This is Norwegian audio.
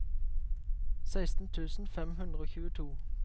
seksten tusen fem hundre og tjueto